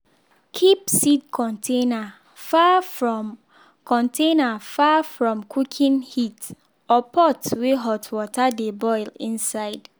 keep seed container far from container far from cooking heat or pot wey hot water dey boil inside.